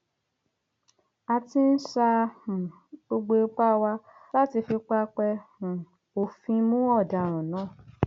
a ti ń sa um gbogbo ipá wa láti fi pápẹ um òfin mú ọdaràn náà